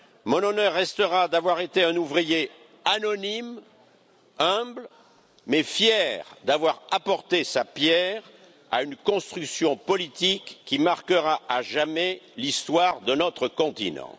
Mon honneur restera d'avoir été un ouvrier anonyme, humble mais fier d'avoir apporté sa pierre à une construction politique qui marquera à jamais l'histoire de notre continent.